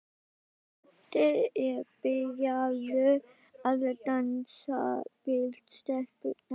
Doddi er byrjaður að dansa við stelpurnar.